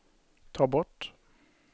ta bort